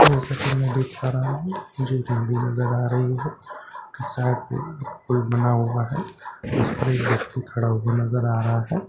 जैसे के में देख पा रहा हु मुझे बिल्डिंग नजर आ रही है इस साइड पे बना हुआ है उस पर व्यक्ति खड़ा हुआ नजर आ रहा है।